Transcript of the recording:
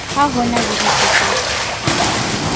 ha ho na le ditletlebo